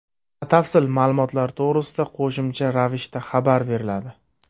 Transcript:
Batafsil ma’lumotlar to‘g‘risida qo‘shimcha ravishda xabar beriladi.